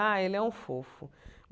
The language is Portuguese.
Ah, ele é um fofo.